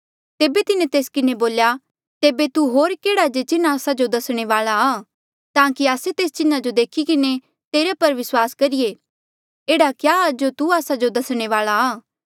तेबे तिन्हें तेस किन्हें बोल्या तेबे तू होर केह्ड़ा जे चिन्ह आस्सा जो दसणे वाले आ ताकि आस्से तेस चिन्हा जो देखी किन्हें तेरे पर विस्वास करीए एह्ड़ा क्या जो तू आस्सा जो दसणे वाले आ